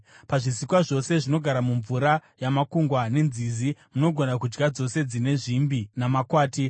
“ ‘Pazvisikwa zvose zvinogara mumvura yamakungwa nenzizi, munogona kudya dzose dzine zvimbi namakwati.